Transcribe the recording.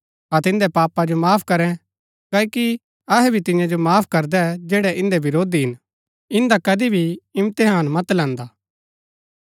अतै इन्दै पापा जो माफ करै क्ओकि अहै भी तियां जो माफ करदै जैड़ै इन्दै विरोधी हिन इन्दा कदी भी इम्तेहान मत लैंदा